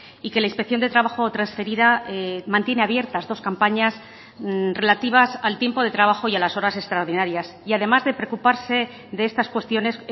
y que la inspección de trabajo transferida mantiene abiertas dos campañas relativas al tiempo de trabajo y a las horas extraordinarias y además de preocuparse de estas cuestiones